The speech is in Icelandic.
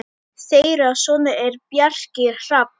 Þeirra sonur er Bjarki Hrafn.